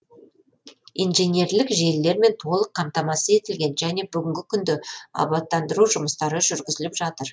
инженерлік желілермен толық қамтамасыз етілген және бүгінгі күнде абаттандыру жұмыстары жүргізіліп жатыр